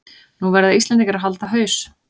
Nú verða Íslendingar að halda haus